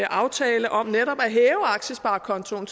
aftale om netop at hæve aktiesparekontoen